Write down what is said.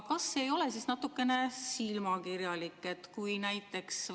Kas see ei ole natuke silmakirjalik?